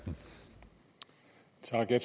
sådan at